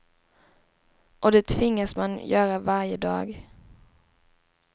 Och det tvingas man göra varje dag.